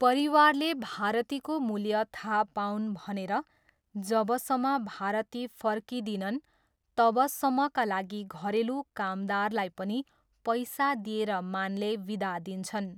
परिवारले भारतीको मूल्य थाहा पाऊन् भनेर जबसम्म भारती फर्किँदिँनन् तबसम्मका लागि घरेलु कामदारलाई पनि पैसा दिएर मानले विदा दिन्छन्।